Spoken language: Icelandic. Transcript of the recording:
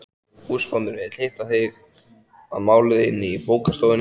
Húsbóndinn vill hitta þig að máli inni í bókastofunni.